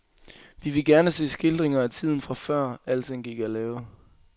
Vi vil gerne se skildringer af tiden fra før, alting gik af lave.